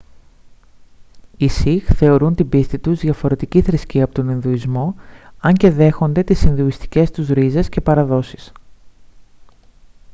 οι σιχ θεωρούν την πίστη τους διαφορετική θρησκεία από τον ινδουισμό αν και δέχονται τις ινδουιστικές τους ρίζες και παραδόσεις